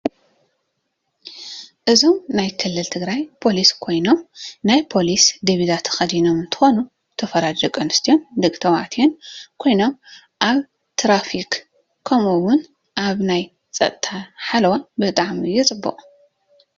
እዞም ናይ ክልል ትግራይ ፖሊስ ኮይኖም ናይ ፖሊስ ዲብዛ ቸክዲኖም እንትኮኑ ዝተፈላለዪ ደቂ ተባዓትዮም ደቂ አንስትዮም ኮይኖም አብ ቴራፊክ ከምኡ እውን አብ ናይ ፀጥታ ሓለዋ ብጣዓሚፅቡቅ እዩ።